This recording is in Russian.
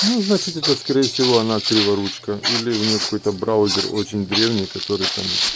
ну значит это скорее всего она криворучко или у нее какой-то браузер очень древний который там